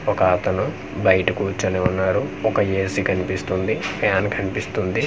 ఒక అతను బయట కూర్చుని ఉన్నారు ఒక ఎ_సి కనిపిస్తుంది ఫ్యాన్ కనిపిస్తుంది.